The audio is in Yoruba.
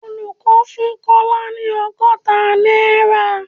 Olùkọ́ fún Kọ́lá ni ọgọ́ta náírà